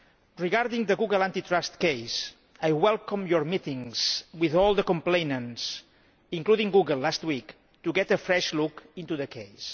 Regarding the Google antitrust case, I welcome your meetings with all the complainants, including Google last week, to get a fresh look into the case.